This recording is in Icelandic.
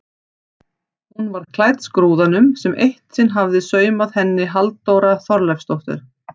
Hún var klædd skrúðanum sem eitt sinn hafði saumað henni Halldóra Þorleifsdóttir.